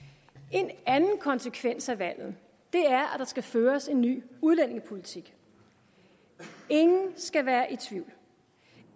en anden konsekvens af valget er at der skal føres en ny udlændingepolitik ingen skal være i tvivl